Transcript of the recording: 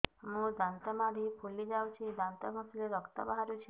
ମୋ ଦାନ୍ତ ମାଢି ଫୁଲି ଯାଉଛି ଦାନ୍ତ ଘଷିଲେ ରକ୍ତ ବାହାରୁଛି